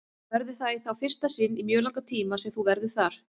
Verður það þá í fyrsta sinn í mjög langan tíma sem þú verður þar?